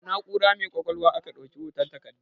Da na'ura mai ƙwaƙwalwa aka ɗauki hoton takardun